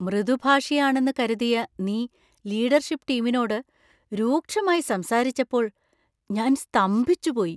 മൃദുഭാഷിയാണെന്ന് കരുതിയ നീ ലീഡർഷിപ്പ് ടീമിനോട് രൂക്ഷമായി സംസാരിച്ചപ്പോൾ ഞാൻ സ്തംഭിച്ചുപോയി.